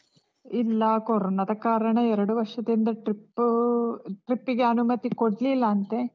ಇಲ್ಲ. ಕೊರೊನದ ಕಾರಣ, ಎರಡು ವರ್ಷದಿಂದ trip trip ಗೆ ಅನುಮತಿ ಕೊಡ್ಲಿಲ್ಲ ಅಂತೆ.